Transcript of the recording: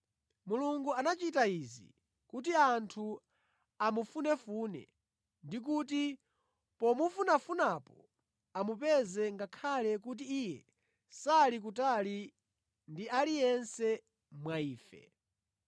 Mulungu anachita izi kuti anthu amufunefune, ndikuti pomufunafunapo amupeze ngakhale kuti Iye sali kutali ndi aliyense wa ife.